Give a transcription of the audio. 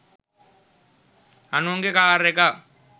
අනුන්ගේ කාර් එකක්